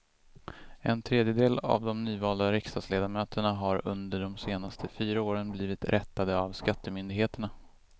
En tredjedel av de nyvalda riksdagsledamöterna har under de senaste fyra åren blivit rättade av skattemyndigheterna.